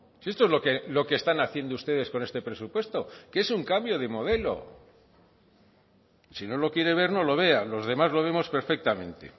si esto es lo que están haciendo ustedes con este presupuesto que es un cambio de modelo si no lo quiere ver no lo vea los demás lo vemos perfectamente